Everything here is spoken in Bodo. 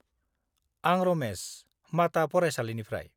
आं रमेस, माता फरायसालिनिफ्राय।